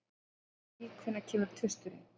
Jenny, hvenær kemur tvisturinn?